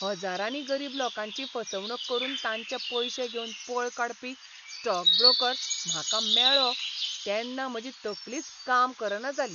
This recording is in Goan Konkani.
हजारांनी गरीब लोकांची फसवणूक करून तांचे पयशे घेवन पळ काडपी स्टॉक ब्रोकर म्हाका मेळ्ळो तेन्ना म्हजी तकलीच काम करना जाली.